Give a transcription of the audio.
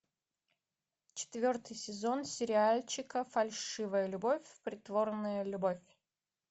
четвертый сезон сериальчика фальшивая любовь притворная любовь